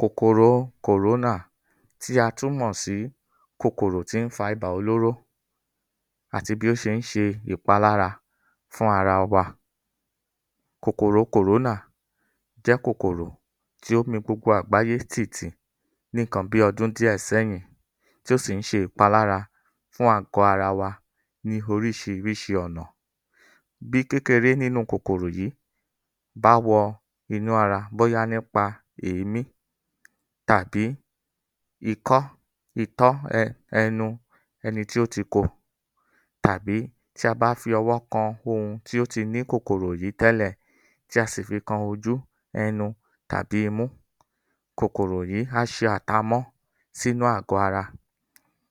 Kòkòrò kòrónà tí a tún mọ̀ sí kòkòrò tí ń fa ibà olóró àti bí ó ṣe ń ṣe ìpalára fún ara wa. Kòkòrò kòrónà jẹ́ kòkòrò tí ó mi gbogbo àgbáyé tì tì níkan bíi ọdún díẹ̀ sẹ́yìn tí ó sì ń ṣe ìpalára fún àgọ ara wa ní oríṣiríṣi ọ̀nà. Bí kékeré nínú kòkòrò yìí bá wọ inú ara bóyá nípa èémí tàbí ikọ́, itọ́, ẹnu, ẹni tí ó ti kó tàbí tí a bá fi ọwọ́ kan ohun tí ó ti ní kòkòrò yìí tẹ́lẹ̀ tí a sì fi kan ojú, ẹnu tàbí imú, kòkòrò yìí á ṣe àtamọ́ sínú àgọ̀ ara.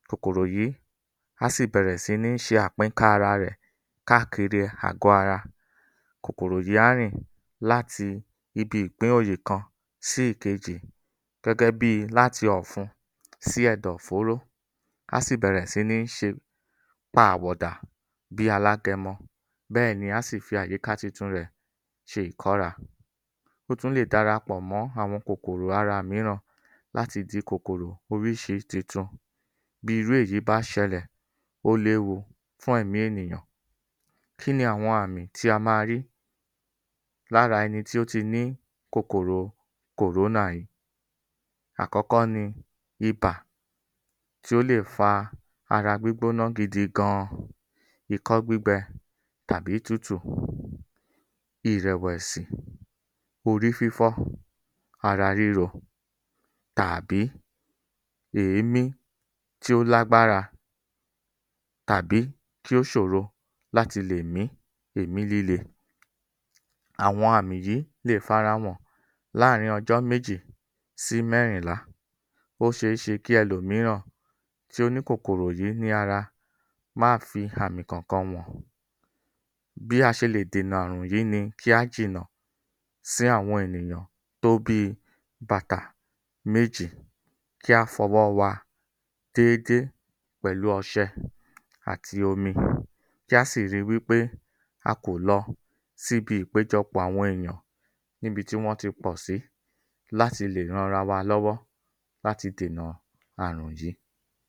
Kòkòrò yìí á sì bẹ̀rẹ̀ si ní ṣe àpínká ara rẹ̀ káàkiri àgọ̀ ara. Kòkòrò yìí á rìn láti kan sí ìkejì, gẹ́gẹ́ bi láti ọ̀fun sí ẹ̀dọ̀fóró, á sì bẹ̀rẹ̀ si ní ṣe pa àwọ̀ dà bíi alágẹmọ bẹ́ẹ̀ ni á sì fi àyíká tuntun rẹ̀ ṣe ìkọ́ra. Ó tún lè dara pọ̀ mọ́ àwọn kòkòrò ara mìíràn láti di kòkòrò oríṣi titun. Bí irú èyí bá ṣẹlẹ̀, ó léwu fún ẹ̀mí ènìyàn. Kí ni àwọn àmì tí a máa rí lára ẹni tí ó ti ní kòkòrò kòrónà yìí. Àkọ́kọ́ ni ibà tí ó lè fa ara gbígbóná gidigan, ikọ́ gbígbẹ tàbí tútù, ìrẹ̀wẹ̀sì, orí fífọ́, ara ríro, tàbí èémí tí ó lágbára tàbí kí ó ṣòro láti lè mí èémí líle. Àwọn àmì yìí lè farahàn láàárín ọjọ́ méjì sí mẹ́rìnlá. Ó ṣeéṣe kí ẹlòmíràn tí ó ní kòkòrò yìí ní ara má fi àmì kan kan hàn. Bí a ṣe lè dènà àrùn yìí ni kí á jìnà sí àwọn ènìyàn tó bíi bàtà méjì, kí á fọwọ́ wa déédé pẹ̀lú ọṣẹ àti omi kí á sì ri wípé a kò lọ síbi ìpéjọpọ̀ àwọn èèyàn níbi tí wọ́n ti pọ̀sí láti lè ranra wa lọ́wọ́ láti dènà àrùn yìí.